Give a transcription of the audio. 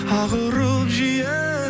ақ ұрып жиі